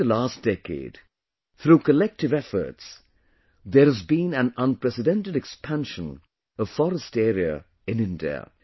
During the last decade, through collective efforts, there has been an unprecedented expansion of forest area in India